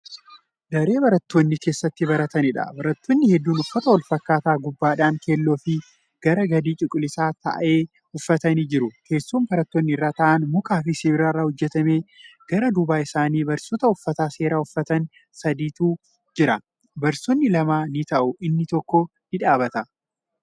Daree barattoonni keessatti barataniidha. barattoonni hedduun uffata walfakkaataa gubbaadhan keeelloofi garri gadi cuquliisa ta'e uffatanii jiru. teessoon barattoonni irra taa'an mukaafi sibiilarraa hojjatame. gara duuba isaanii barsiisota uffata seeraa uffatan sadi'itu Jira. barsiisonni lama ni taa'u inni tokko ni dhaabbata